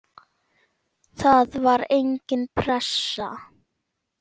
Það var engin pressa.